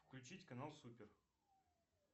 включить канал супер